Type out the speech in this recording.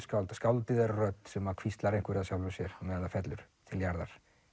skáldið skáldið er rödd sem að hvíslar einhverju að sjálfu sér á meðan það fellur til jarðar